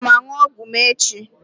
Aga m aṅụ ọgwụ m echi.